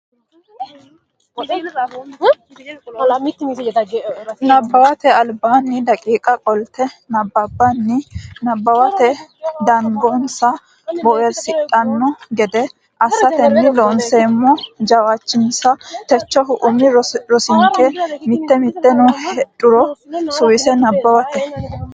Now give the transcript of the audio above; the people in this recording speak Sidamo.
Nabbawate Albaanni daqiiqa qolte nabbabbanni nabbawate dandoonsa boowirsidhanno gede assatenni Loonseemmo jawaachishinsa techohu umi rosinke Mitii mitanno heedhuro suwise nabbawate.